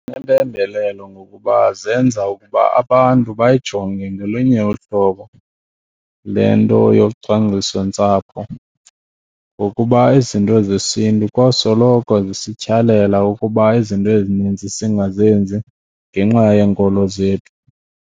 Impembelelo ngokuba zenza ukuba abantu bayayijonge ngolunye uhlobo le nto yocwangcisontsapho ngokuba izinto zesiNtu kwasoloko zisityhalela ukuba izinto ezininzi singazenzi ngenxa yeenkolo zethu.